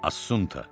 Assunta,